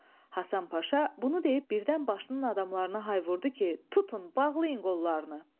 Hasan Paşa bunu deyib birdən başının adamlarına hay vurdu ki, tutun, bağlayın qollarını.